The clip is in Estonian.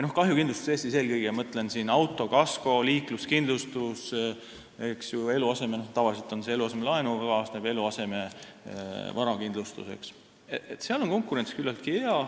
Kahjukindlustuses – eelkõige mõtlen auto-, kasko- ja üldse liikluskindlustust ning eluasemelaenuga tavaliselt kaasnevat varakindlustust – on konkurents küllaltki tihe.